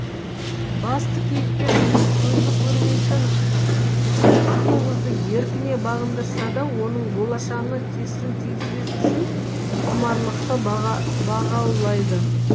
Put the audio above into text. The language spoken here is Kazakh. басты кейіпкер жігіт көзі көрмейтін сұлу қызды еркіне бағындырса да оның болашағына кесірін тигізбес үшін құмарлықты баға бағаулайды